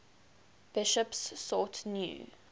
bishops sought new